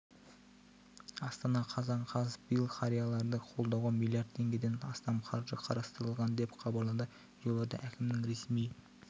астана қазан қаз биыл қарияларды қолдауға миллиард теңгеден астам қаржы қарастырылған деп хабарлады елорда әкімінің ресми